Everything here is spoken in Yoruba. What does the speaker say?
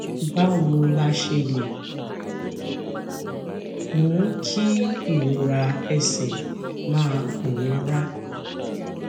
báwo la ṣe lè mú kí ìrora ẹsè máa pòórá